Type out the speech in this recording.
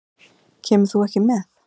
Kemur þú ekki með?